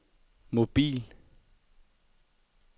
mobil